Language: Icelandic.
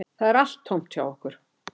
Það er allt tómt hjá okkur